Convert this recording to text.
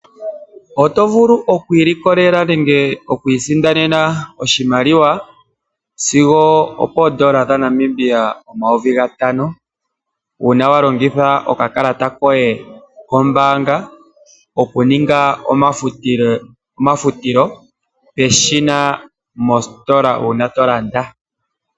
Oto vulu oku ilikolela nenge oku isindanena oshimaliwa sigo opooN$ 5000 uuna wa longitha okakalata koye kombaanga okuninga omafutilo peshina mositola uuna to landa.